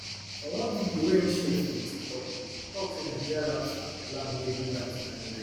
for one video wey im share for im tiktok page e tok say na nigeria rap star olamide bring am to limelight